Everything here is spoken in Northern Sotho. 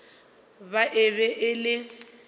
ba e be e le